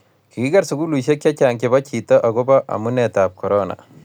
kikiker sukulisiek che chang' chebo chito akubo amunetab korona